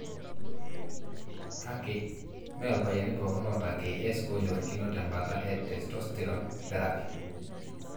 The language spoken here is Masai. kake, me ilpayiani pooki oata KS onyorokino teembaata e testosterone therapy.